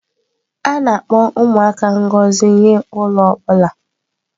A na-akpọ ụmụaka ngọzi nye ụlọ ọ bụla.